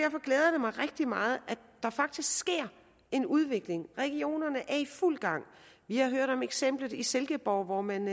mig rigtig meget at der faktisk sker en udvikling regionerne er i fuld gang vi har hørt om eksemplet i silkeborg hvor man